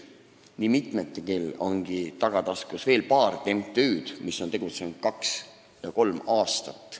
Nii mitmelgi on tagataskus veel paar MTÜ-d, mis on tegutsenud kaks või kolm aastat.